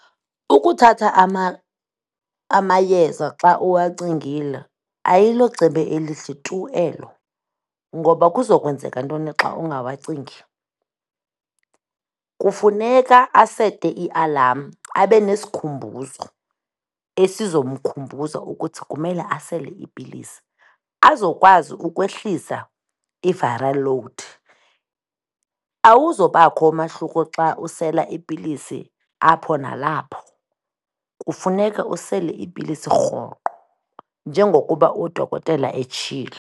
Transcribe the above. Ukuthatha amayeza xa uwacingile ayilocebo elihle tu elo ngoba kuza kwenzeka ntoni xa ungawacingi? Kufuneka asete ialam, abe nesikhumbuzo esizomkhumbuza ukuthi kumele asele iipilisi azokwazi ukwehlisa i-viral load. Awuzobakho umahluko xa usela iipilisi apho nalapho. Kufuneka usele iipilisi rhoqo njengokuba udokotela etshilo.